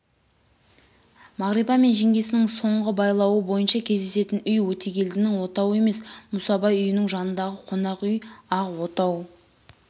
мағрипа мен жеңгесінің соңғы байлауы бойынша кездесетін үй өтегелдінің отауы емес мүсабай үйінің жанындағы қонақ үй ақ отау